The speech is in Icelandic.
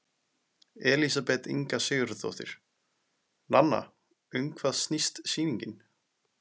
Elísabet Inga Sigurðardóttir: Nanna, um hvað snýst sýningin?